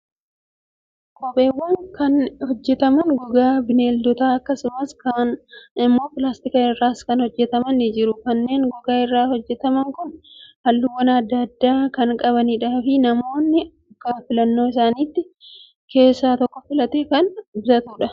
Kopheewwan kan hojjataman gogaa bineeldotaa akkasumas kaan immoo pilaastika irraas kan hojjataman ni jiru. Kanneen gogaa irraa hojjataman kun halluuwwan adda addaa kan qabanii fi namni akka filannoo isaatti keessaa tokko filatee kan bitatudha.